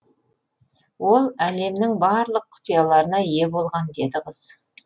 ол әлемнің барлық құпияларына ие болған деді қыз